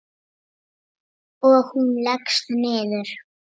Og hún leggst niður.